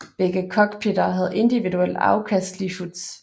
Begge cockpitter havde individuelt afkastelige hoods